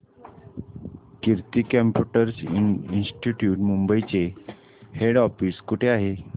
कीर्ती computer institute Mumbai चे head office कुठे आहे